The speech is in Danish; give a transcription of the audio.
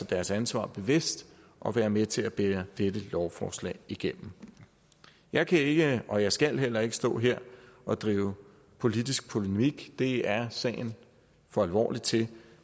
deres ansvar bevidst og være med til at bære dette lovforslag igennem jeg kan ikke og jeg skal heller ikke stå her og drive politisk polemik det er sagen for alvorlig til